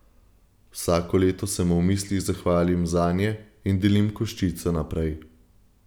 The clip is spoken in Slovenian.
Vsako leto se mu v mislih zahvalim zanje in delim koščice naprej!